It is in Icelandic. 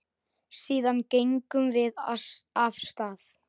Síðan gengum við af stað.